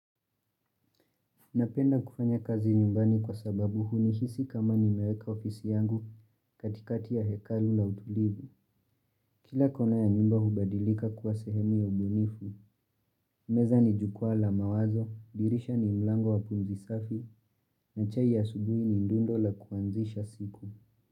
Napenda kufanya kazi nyumbani kwa sababu hunihisi kama nimeweka ofisi yangu katikati ya hekalu la utulivu. Kila kona ya nyumba hubadilika kuwa sehemu ya ubunifu, meza ni jukwaa la mawazo, dirisha ni mlango wa pumzi safi, na chai ya asubuhi ni ndundo la kuanzisha siku.